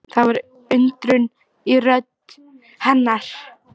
Það var undrun í rödd hennar.